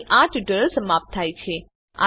અહીં આ ટ્યુટોરીયલ સમાપ્ત થાય છે